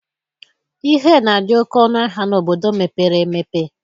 Ihe na-adị oke ọnụ ahịa n'obodo mepere emepe